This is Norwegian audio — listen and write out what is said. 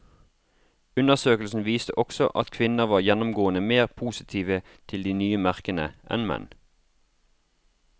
Undersøkelsen viste også at kvinner var gjennomgående mer positive til de nye merkene enn menn.